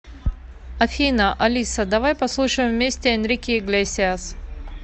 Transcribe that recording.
афина алиса давай послушаем вместе энрике иглесиас